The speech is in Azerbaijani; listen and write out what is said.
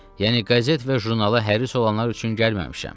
Yəni qəzet və jurnala həris olanlar üçün gəlməmişəm.